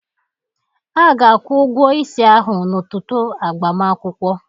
Aga-akwụ ụgwọ isi ahụ n'ụtụtụ agbamakwụkwọ.